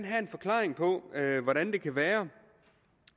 have en forklaring på hvordan det kan være